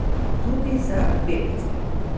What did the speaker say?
Tudi za bebce.